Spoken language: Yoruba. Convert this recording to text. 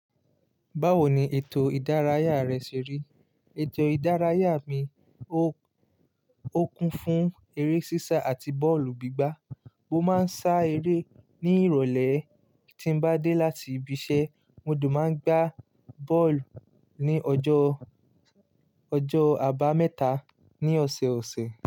Báwo ni ètò ìdárayá rẹ ṣe rí? Ètò ìdárayá mi, ó, ó kún fún eré sísá àti bọ́ọ̀lù gbígbá. Mo máa ń sá eré ní ìrọ̀lẹ́ tí n bá dé láti ibi iṣẹ́, mo dùn máa ń gbá bọ́ọ̀lù ní ọjọ́, ọjọ́ àbámẹ́ta ní ọ̀sẹ̀ẹ̀ ọ̀sẹ̀